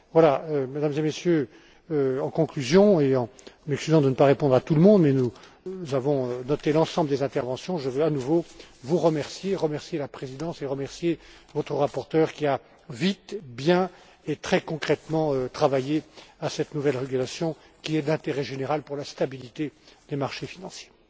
Voilà, Mesdames et Messieurs, en conclusion et en m'excusant de ne pas répondre à tout le monde, mais nous avons noté l'ensemble des interventions, je veux à nouveau vous remercier, remercier la Présidence, remercier votre rapporteur qui a, vite, bien et très concrètement, travaillé à cette nouvelle régulation, qui est d'intérêt général pour la stabilité des marchés financiers.